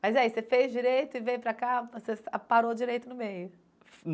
Mas aí, você fez direito e veio para cá, você parou direito no meio?